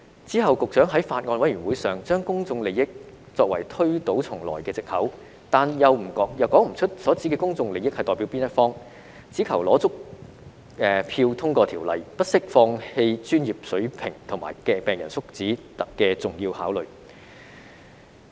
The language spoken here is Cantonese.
之後局長在法案委員會上，把"公眾利益"作為推倒重來的藉口，但又說不出所指的"公眾利益"是代表哪一方，只求取得足夠票數通過修例，不惜放棄專業水平及病人福祉的重要考慮。